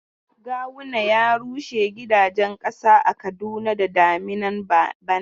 Goguwa ya rushe gidajen ƙasa a Kaduna da daminan bana.